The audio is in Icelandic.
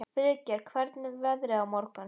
Friðgeir, hvernig verður veðrið á morgun?